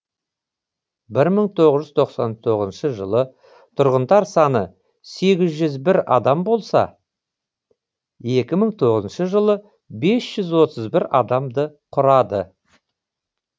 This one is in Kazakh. бір мың тоғыз жүз тоқсан тоғызыншы жылы тұрғындар саны сегіз жүз бір адам болса екі мың тоғызыншы жылы бес жүз отыз бір адамды құрады